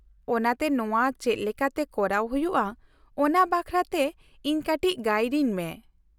-ᱚᱱᱟᱛᱮ ᱱᱚᱶᱟ ᱪᱮᱫ ᱞᱮᱠᱟᱛᱮ ᱠᱚᱨᱟᱣ ᱦᱩᱭᱩᱜᱼᱟ ᱚᱱᱟ ᱵᱟᱠᱷᱨᱟᱛᱮ ᱤᱧ ᱠᱟᱹᱴᱤᱡ ᱜᱟᱹᱭᱤᱰᱤᱧ ᱢᱮ ᱾